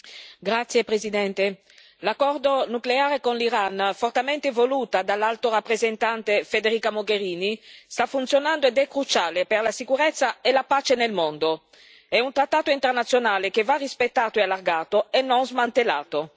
Signora Presidente, onorevoli colleghi, l'accordo nucleare con l'Iran, fortemente voluto dall'Alto rappresentante Federica Mogherini, sta funzionando ed è cruciale per la sicurezza e la pace nel mondo. È un trattato internazionale che va rispettato e allargato, e non smantellato.